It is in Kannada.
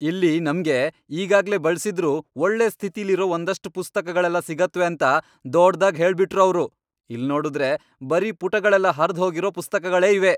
ಇಲ್ಲಿ ನಮ್ಗೆ ಈಗಾಗ್ಲೇ ಬಳ್ಸಿದ್ರೂ ಒಳ್ಳೆ ಸ್ಥಿತಿಲಿರೋ ಒಂದಷ್ಟ್ ಪುಸ್ತಕಗಳೆಲ್ಲ ಸಿಗತ್ವೆ ಅಂತ ದೊಡ್ದಾಗ್ ಹೇಳ್ಬಿಟ್ರು ಅವ್ರು, ಇಲ್ನೋಡುದ್ರೆ ಬರೀ ಪುಟಗಳೆಲ್ಲ ಹರ್ದ್ ಹೋಗಿರೋ ಪುಸ್ತಕಗಳೇ ಇವೆ.